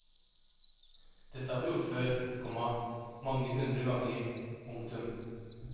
Dette har vi gjort før, komma mange hundre ganger. punktum